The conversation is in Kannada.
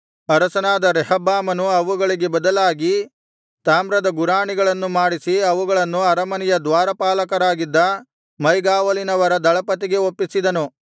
ಅರಸನಾದ ರೆಹಬ್ಬಾಮನು ಅವುಗಳಿಗೆ ಬದಲಾಗಿ ತಾಮ್ರದ ಗುರಾಣಿಗಳನ್ನು ಮಾಡಿಸಿ ಅವುಗಳನ್ನು ಅರಮನೆಯ ದ್ವಾರಪಾಲಕರಾಗಿದ್ದ ಮೈಗಾವಲಿನವರ ದಳಪತಿಗೆ ಒಪ್ಪಿಸಿದನು